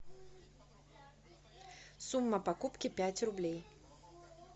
сумма покупки пять рублей